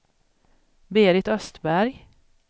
Berit Östberg